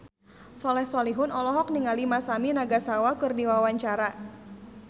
Soleh Solihun olohok ningali Masami Nagasawa keur diwawancara